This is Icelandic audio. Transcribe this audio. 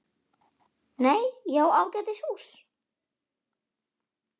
Nei, ég á ágætis hús.